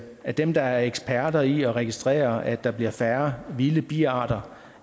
at dem der er eksperter i at registrere at der bliver færre vilde biarter